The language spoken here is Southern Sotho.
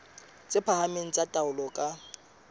tse phahameng tsa taolo ka